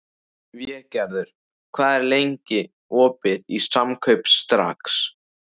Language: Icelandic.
Végerður, hvað er lengi opið í Samkaup Strax?